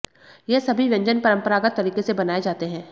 यह सभी व्यंजन परंपरागत तरीके से बनाए जाते हैं